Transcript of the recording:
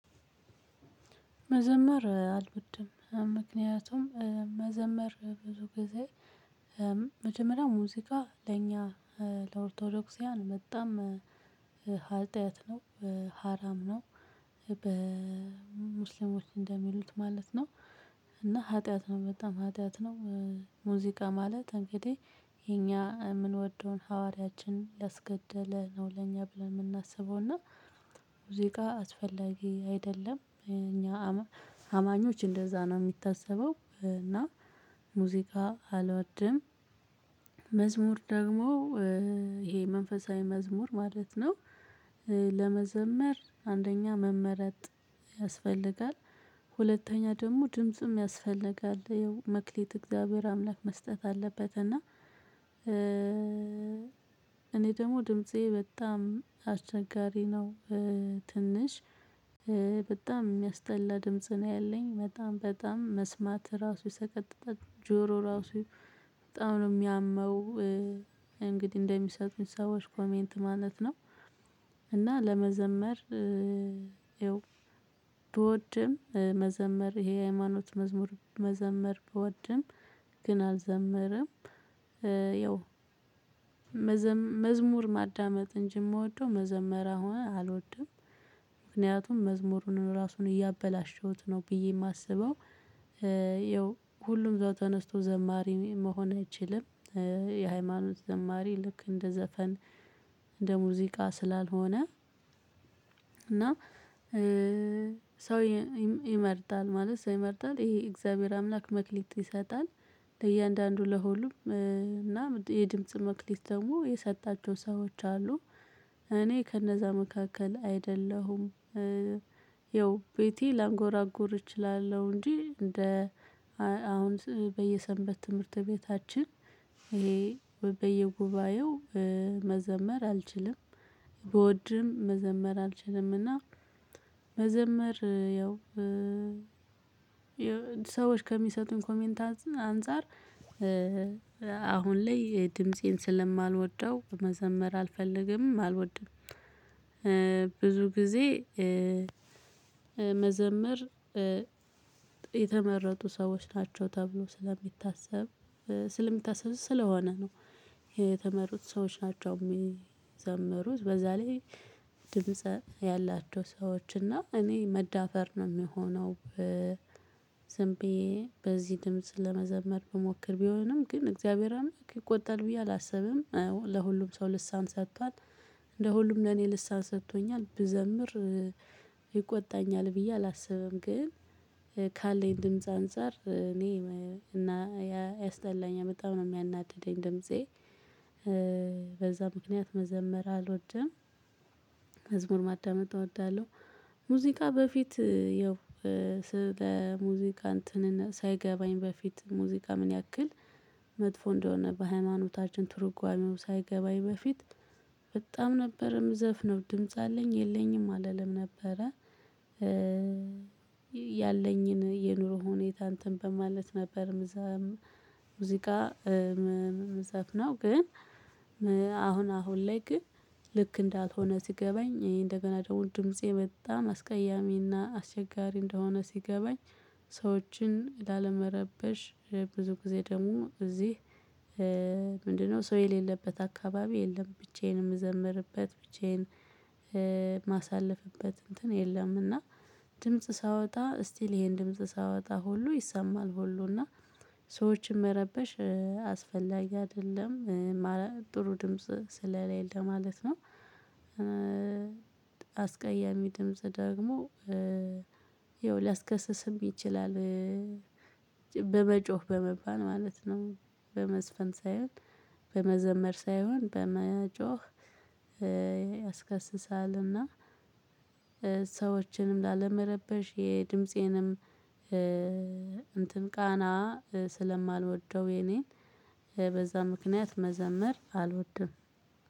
መዘመር አልዎድም ምክንያቱም መዘመር ብዙ ጊዜ መጀመሪያ ሙዚቃ ለእኛ ለኦርቶዶክስያን በጣም ሀጥያት ነው ሀራም ነው በሙስሊሞች እንደሚሉት ማለት ነው። እና ሀጥያት ነው በጣም ኃጢአት ነው። ሙዚቃ ማለት እንግዲህ የኛ የምንወደውን ሐዋርያችን ላስገደለ ነው ለኛ ብለን የምናስበው እና። ሙዝቃ አስፈላጊ አይደለም እኛ አማኞች እንደዛ ነው የሚታሰበው እና። ሙዚቃ አልወድም። መዝሙር ደግሞ ይሄ መንፈሳዊ መዝሙር ማለት ነው። ለመዘመር አንደኛ መመረጥ ያስፈልጋል። ሁለተኛ ደግሞ ድምጽም ያስፈልጋል ይኸው መክሊት እግዚአብሔር አምላክ መስጠት አለበት እና። እኔ ደግሞ ድምፄ በጣም አስቸጋሪ ነው። ትንሽ በጣም የሚያስጠላ ድምጽ ነው ያለኝ በጣም በጣም መስማት ራሱ ሰቀጥጣጥ ጆሮ ራሱ በጣም ነው የሚያመው። እንግዲህ እንደሚሰጡኝ ሰዎች ኮሜንት ማለት ነው። እና ለመዘመር ብወድም መዘመር ይሄ ሃይማኖት መዝሙር መዘመር ብወድም ግን አልዘምረም። ያው መዝሙር ማዳመጥ እንጂ የምወደው መዘመር አሁን አልወድም። ምክንያቱም መዝሙሩን ራሱን እያበላሸሁት ነው ብዬ የማስበው። ይኸው ሁሉም እዛው ተነስቶ ዘማሪ መሆን አይችልም። የሃይማኖት ዘማሪ ልክ እንደ ዘፈን እንደ ሙዚቃ ስላልሆነ። እና ሰው ይመርጣል ማለት ሰው ይመርጣል ይሄ የእግዚአብሔር አምላክ መክሊት ይሰጣል። ለእያንዳንዱ ለሁሉም እና የድምጽ መክሊት ደግሞ የሰጣቸው ሰዎች አሉ። እኔ ከነዛ መካከል አይደለሁም። ይኸው ቤቴ ላንጎራጎር እችላለሁ እንጂ እንደ አሁን በየሰንበት ትምህርት ቤታችን ይሄ በየጉባኤው መዘመር አልችልም። ብወድም መዘመር አልችልም እና። መዘመር ያው ሰዎች ከሚሰጡን ኮሜንት አን አንፃር። አሁን ላይ ድምፄን ስለማልወደው መዘመር አልፈልግም አልወድም። ብዙ ጊዜ መዘመር መዘምር የተመረጡ ሰዎች ናቸው ተብሎ ስለሚታሰብ ስለሚታሰብ ስለሆነ ነው። የተመሩት ሰዎች ናቸው የሚዘምሩት በዛ ላይ። ድምጽ ያላቸው ሰዎች እና እኔ መዳፈር ነው የምሆነው። በ ዝንብየ በዚህ ድምጽ ለመዘመር ብሞክር ቢሆንም ግን እግዚአብሔር አምላክ ይቆጣል ብዬ አላስብም ለሁሉም ሰው ልሳን ሰጥቷል። እንደ ሁሉም ለኔ ልሳን ሰጥቶኛል ብዘምር ይቆጣኛል ብዬ አላስብም። ግን ካለኝ ድምጽ አንፃር እኔ እና ያስጠላኝ በጣም ነው የሚያናድደኝ ድምፄ። በዛ ምክንያት መዘመር አልወደም። መዝሙር ማዳመጥ እወዳለሁ። ሙዚቃ በፊት ያው ለሙዚቃ እንትን ሳይገባኝ በፊት ሙዚቃ ምን ያክል መጥፎ እንደሆነ በሃይማኖታችን ትርጓሜው ሳይገባኝ በፊት። በጣም ነበር ምዘፍነው ድምጽ አለኝ የለኝም አልልም ነበረ። ያለኝን የኑሮ ሁኔታ እንትን በማለት ነበር ምዛም ሙዚቃ ምዘፍነው ግን። አሁን አሁን ላይ ግን ልክ እንዳልሆነ ሲገባኝ እኔ እንደገና ደግሞ ድምፄ በጣም አስቀያሚና አስቸጋሪ እንደሆነ ሲገባኝ። ሰዎችን ላለመረበሽ ብዙ ጊዜ ደግሞ እዚህ። ምንድነው ሰው የሌለበት አካባቢ የለም ብቻዬንም የምዘምርበት ብቻዬን። የማሳልፍበት እንትን የለም እና። ድምጽ ሳወጣ እስቲ ይሄን ድምጽ ሳወጣ ሁሉ ይሰማል ሁሉና ሰዎችን መረበሽ አስፈላጊ አይደለም ጥሩ ድምጽ ስለሌለ ማለት ነው። አስቀያሚ ድምጽ ደግሞ ይኸው ሊያስከስስም ይችላል። በመጮህ በመባል ማለት ነው። በመዝፈን ሳይሆን በመዘመር ሳይሆን በመጮህ ያስከስሳልና። ሰዎችንም ላለመረበሽ የድምፄንም እንትን ቃና ስለማልወደው የኔን በዛ ምክንያት መዘምር አልወድም።